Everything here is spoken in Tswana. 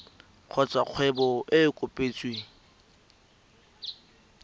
kgotsa kgwebo e e kopetsweng